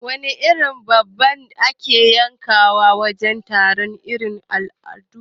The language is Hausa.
Wana irin dabba ake yankawa wajen taro irin na al'adu?